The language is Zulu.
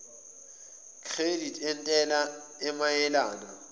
credit entela emayelana